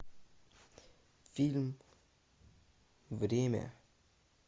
фильм время